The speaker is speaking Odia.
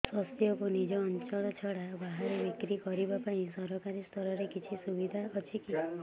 ଶସ୍ୟକୁ ନିଜ ଅଞ୍ଚଳ ଛଡା ବାହାରେ ବିକ୍ରି କରିବା ପାଇଁ ସରକାରୀ ସ୍ତରରେ କିଛି ସୁବିଧା ଅଛି କି